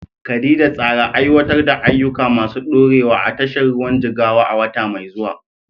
Khadija, tsara aiwatar da ayyuka masu ɗorewa a tashar ruwan Jigawa a wata mai zuwa.